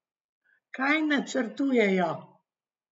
Kaj načrtujejo?